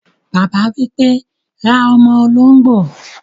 Bàbá wípé, "ra ọ́mọ́ olóngbò